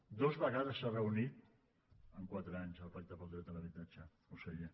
dues vegades s’ha reunit en quatre anys el pacte per al dret a l’habitatge conseller